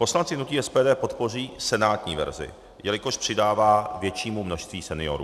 Poslanci hnutí SPD podpoří senátní verzi, jelikož přidává většímu množství seniorů.